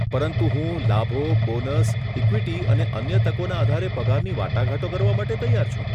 પરંતુ હું લાભો, બોનસ, ઇક્વિટી અને અન્ય તકોના આધારે પગારની વાટાઘાટો કરવા માટે તૈયાર છું.